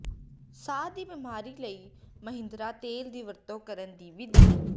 ਸਾਹ ਦੀ ਬਿਮਾਰੀ ਲਈ ਮਹਾਂਦੀਰਾ ਤੇਲ ਦੀ ਵਰਤੋਂ ਕਰਨ ਦੀ ਵਿਧੀ